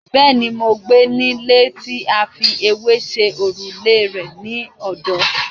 Bẹ́ẹ̀ni, mo gbé nílé tí a fi ewé ṣe òrùlé rẹ̀ ní ọ̀dọ́.